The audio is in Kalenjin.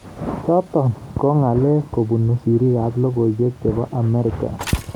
Chotok ko ngal kobun sirik ab lokoiwek chebo Amerika.